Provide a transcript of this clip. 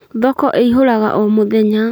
Thoko ĩhũraga o mũthenya